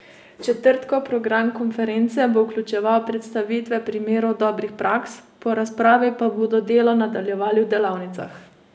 Četrtkov program konference bo vključeval predstavitve primerov dobrih praks, po razpravi pa bodo delo nadaljevali v delavnicah.